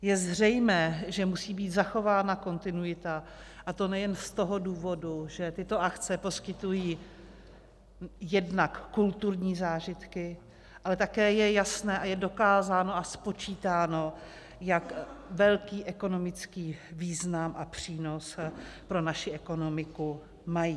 Je zřejmé, že musí být zachována kontinuita, a to nejen z toho důvodu, že tyto akce poskytují jednak kulturní zážitky, ale také je jasné a je dokázáno a spočítáno, jak velký ekonomický význam a přínos pro naši ekonomiku mají.